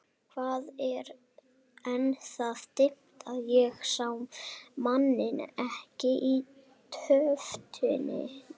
Það var enn það dimmt að ég sá manninn ekki í tóftinni.